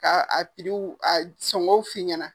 Ka a a sɔngɔw f'i ɲɛna.